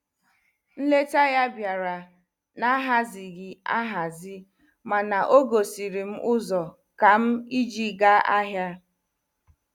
Nleta ya biara na-ahazighi ahazi mana ogosiri m ụzọ kam iji gaa ahia.